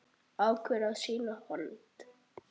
Ákveður að sýna hold.